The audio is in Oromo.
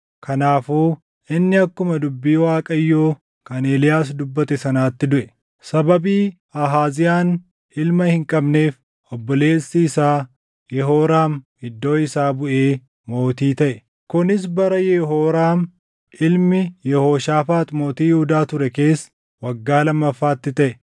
Kanaafuu inni akkuma dubbii Waaqayyoo kan Eeliyaas dubbate sanaatti duʼe. Sababii Ahaaziyaan ilma hin qabneef obboleessi isaa Yehooraam iddoo isaa buʼee mootii taʼe; kunis bara Yehooraam ilmi Yehooshaafaax mootii Yihuudaa ture keessa waggaa lammaffaatti taʼe.